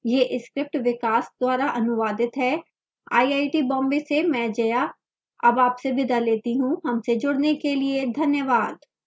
यह script विकास द्वारा अनुवादित है मैं जया अब आपसे विदा लेती हूँ हमसे जुडने के लिए धन्यवाद